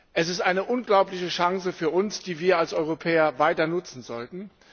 Es ist eine unglaubliche Chance für uns, die wir als Europäer weiter nutzen sollten.